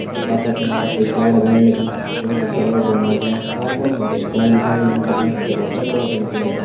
अ बाटा किनारा एक गाड बैण लगीं जफणु कुछ बड़ा बड़ा डुंगान पड्यां पार फणु हम ते एक गों दिखेण लग्युं जफणा हम ते बहोत सारा कुड़ा छन दिखेण लग्यां।